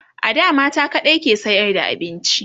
a da mata kaɗai ke sayar da abinci